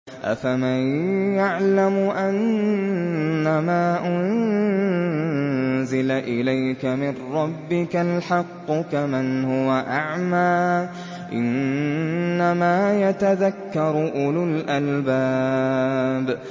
۞ أَفَمَن يَعْلَمُ أَنَّمَا أُنزِلَ إِلَيْكَ مِن رَّبِّكَ الْحَقُّ كَمَنْ هُوَ أَعْمَىٰ ۚ إِنَّمَا يَتَذَكَّرُ أُولُو الْأَلْبَابِ